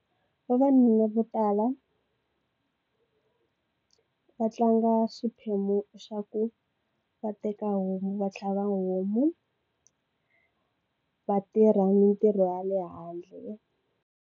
Vavanuna vo tala va tlanga xiphemu xa ku va teka homu va tlhava homu va tirha mintirho ya le handle.